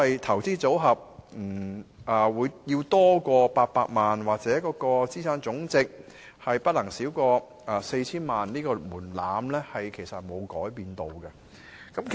投資組合超過800萬元，或者資產總值不少於 4,000 萬元這個門檻沒有改變。